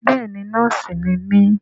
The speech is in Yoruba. Bẹ́ẹ̀ni nọ́ọ̀sì ni mí